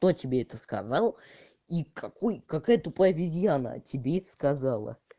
кто тебе это сказал и какой какая тупая обезьяна тебе это сказала